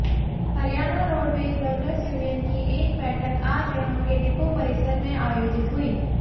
Haryana roadways workers union की एक बैठक आज यहां के डिपो परिसर में आयोजित हुई